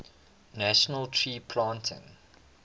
national tree planting